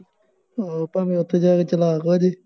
ਉਹ ਭਾਵੇ ਉੱਥੇ ਜਾ ਕੇ ਚਲਾਕ ਹੋ ਜਾਏ